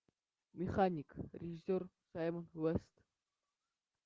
механик режиссер саймон уэст